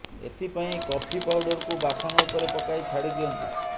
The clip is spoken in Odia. ଏଥିପାଇଁ କଫି ପାଉଡରକୁ ବାସନ ଉପରେ ପକାଇ ଛାଡି ଦିଅନ୍ତୁ